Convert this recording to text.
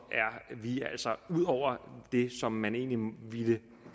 er vi altså ude over det som man egentlig ville